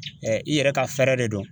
i yɛrɛ ka fɛɛrɛ de don.